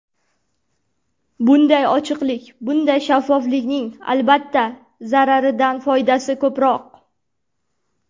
Bunday ochiqlik, bunday shaffoflikning, albatta, zararidan foydasi ko‘proq.